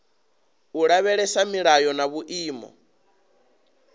u lavhelesa milayo na vhuimo